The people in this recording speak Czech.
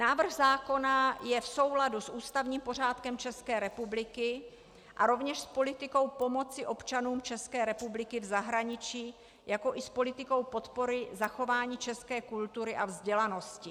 Návrh zákona je v souladu s ústavním pořádkem České republiky a rovněž s politikou pomoci občanům České republiky v zahraničí, jakož i s politikou podpory zachování české kultury a vzdělanosti.